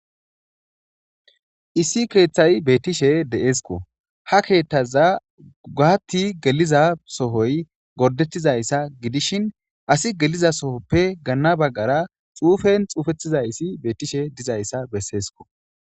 Issi keeththay beettishe de'eskko ha keeththaza gohatti geliza sohoy gordettizayssa gidishin asi geliza sohoppe ganna baggara xuufen xuufettizayssi beettishe dizayssa besseesko.